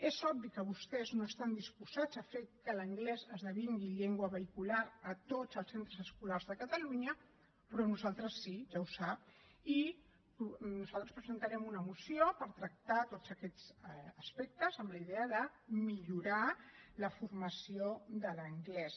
és obvi que vostès no estan disposats a fer que l’anglès esdevingui llengua vehicular a tots els centres escolars de catalunya però nosaltres sí ja ho sap i nosaltres presentarem una moció per tractar tots aquests aspectes amb la idea de millorar la formació de l’anglès